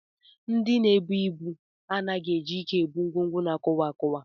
Ndị na-ebu ibu anaghị eji ike ebu ngwongwo na-akụwa akụwa